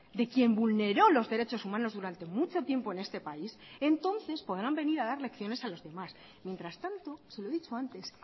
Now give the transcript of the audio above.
de quien vulneró los derechos humanos durante mucho tiempo en este país entonces podrán venir a dar lecciones a los demás mientras tanto se lo he dicho antes